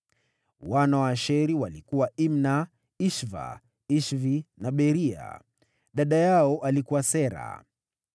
Wana wa Asheri walikuwa: Imna, Ishva, Ishvi na Beria. Dada yao alikuwa Sera.